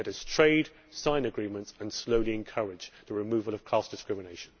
Let us trade, sign agreements and slowly encourage the removal of caste discrimination.